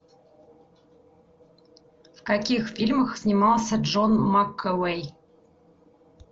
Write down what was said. в каких фильмах снимался джон макэвой